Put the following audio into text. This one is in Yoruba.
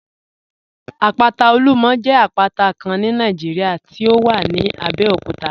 Àpátà Olúmọ̀ jẹ àpátà Kán ní Nàìjíríà tí ó wà ní Àbẹ̀òkútà